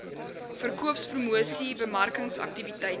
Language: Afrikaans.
verkoopspromosiesbemarkingsaktiwiteite